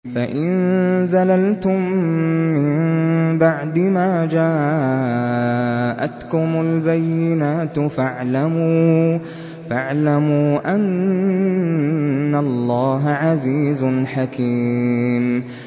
فَإِن زَلَلْتُم مِّن بَعْدِ مَا جَاءَتْكُمُ الْبَيِّنَاتُ فَاعْلَمُوا أَنَّ اللَّهَ عَزِيزٌ حَكِيمٌ